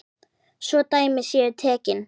Svo dæmi séu tekin.